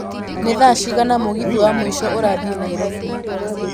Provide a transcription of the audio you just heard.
nĩ thaa cigana mũgithi wa mũico ũrathiĩ nairobi